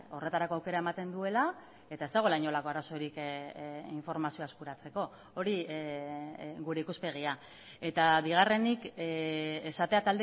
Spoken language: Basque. horretarako aukera ematen duela eta ez dagoela inolako arazorik informazioa eskuratzeko hori gure ikuspegia eta bigarrenik esatea